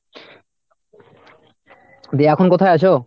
দিয়ে এখন কোথায় আছো?